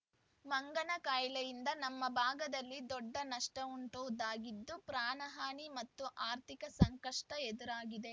ಮಂಗನ ಕಾಯಿಲೆಯಿಂದ ನಮ್ಮ ಭಾಗದಲ್ಲಿ ದೊಡ್ಡ ನಷ್ಟವುಂಟೊಗಿದ್ದು ಪ್ರಾಣಹಾನಿ ಮತ್ತು ಆರ್ಥಿಕ ಸಂಕಷ್ಟಎದುರಾಗಿದೆ